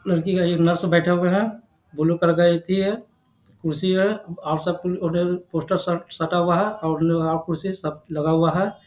लड़की का ये नर्स बैठा हुआ है बुल्लू कलर का एथी हैं कुर्सी है और सब पोस्टर सब सटा हुआ है और कुर्सी सब लगा हुआ है।